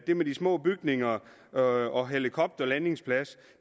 det med de små bygninger og og helikopterlandingsplads